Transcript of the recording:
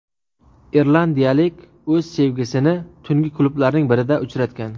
Irlandiyalik o‘z sevgisini tungi klublarning birida uchratgan.